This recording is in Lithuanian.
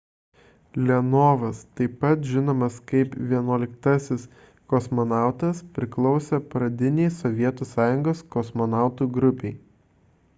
leonovas taip pat žinomas kaip 11-asis kosmonautas priklausė pradinei sovietų sąjungos kosmonautų grupei